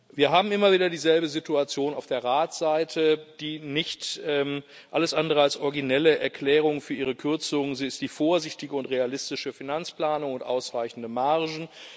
Wir haben immer wieder dieselbe Situation auf der Ratsseite Die alles andere als originelle Erklärung für Ihre Kürzungen ist die vorsichtige und realistische Finanzplanung und ausreichende Margen.